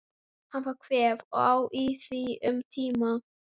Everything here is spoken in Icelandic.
Hann fær kvef og á í því um tíma.